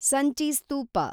Sanchi ಸ್ತೂಪ